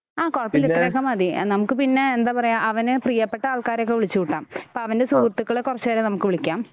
ആ കുഴപ്പമില്ല ഇത്രയൊക്കെ മതി നമുക്ക് പിന്നെ എന്താ പറയുക അവന് പ്രിയപ്പെട്ട ആൾക്കാരെ ഒക്കെ വിളിച്ചു കൂട്ടാം ഇപ്പൊ അവൻ്റെ സുഹൃത്തുക്കളെ കുറച്ചു പേരെ നമുക്ക് വിളിക്കാം